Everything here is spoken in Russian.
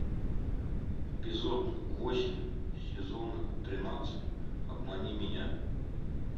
эпизод восемь сезона тринадцать обмани меня